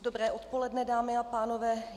Dobré odpoledne, dámy a pánové.